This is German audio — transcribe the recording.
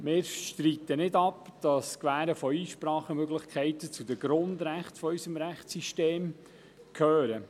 Wir streiten nicht ab, dass das Gewähren von Einsprachemöglichkeiten zu den Grundrechten unseres Rechtssystems gehört.